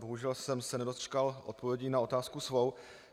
Bohužel jsem se nedočkal odpovědi na otázku svou.